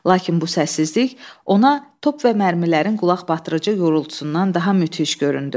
Lakin bu səssizlik ona top və mərmilərin qulaqbatırıcı yorultusundan daha müthiş göründü.